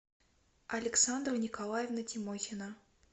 александра николаевна тимохина